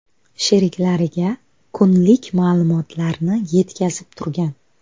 sheriklariga kunlik ma’lumotlarni yetkazib turgan.